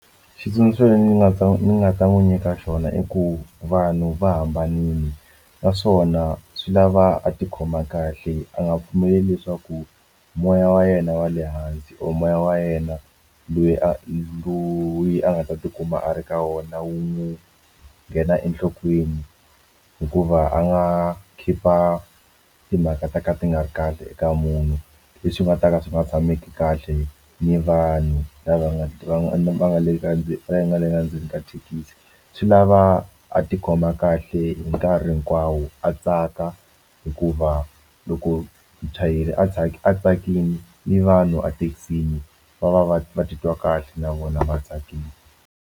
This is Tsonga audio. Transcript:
Xitsundzuxo lexi ndzi nga ta ni nga ta n'wi nyika xona i ku vanhu va hambanile naswona swi lava a tikhoma kahle a nga pfumeli leswaku moya wa yena wa le hansi or moya wa yena a loyi a nga ta tikuma a ri ka wona wu n'wu nghena enhlokweni hikuva a nga khipha timhaka ta ka ti nga ri kahle eka munhu leswi nga ta ka swi nga tshameki kahle ni vanhu lava nga va nga le ndzeni nga le endzeni ka thekisi swi lava a tikhoma kahle hi nkarhi hinkwawo a tsaka hikuva loko muchayeri a tsaka a tsakile ni vanhu ethekisini va va va va titwa kahle na vona va tsakile.